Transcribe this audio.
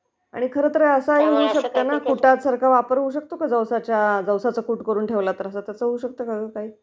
आणि खर तर अस होऊ शकत का कुटासारखा वापर होऊ शकतो का...जवसाचं कुट केल तर त्याचा वापर होऊ सकतो को